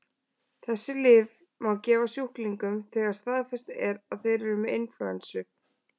Þessi lyf má gefa sjúklingum þegar staðfest er að þeir eru með inflúensu.